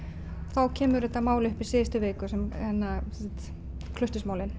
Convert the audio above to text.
þá kemur þetta mál upp í síðustu viku